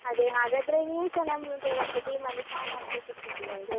ಅದೇ ಹಾಗಾದ್ರೆ ನೀವ್ಸ ನಮ್ದು ಒಂದು team ಅಲ್ಲಿ fan ಆಗಿ ಸಿಕ್ಕಿದ್ದು ನಂಗೆ.